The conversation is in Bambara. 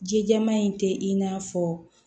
Jijama in tɛ i n'a fɔ